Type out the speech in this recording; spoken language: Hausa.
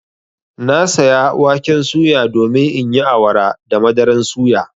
Na saya waken suya domin in yi awara da madaran suya.